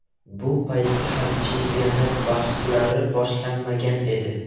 Bu paytda hali chempionat bahslari boshlanmagan edi.